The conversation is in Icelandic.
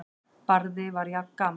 Barði var jafngamall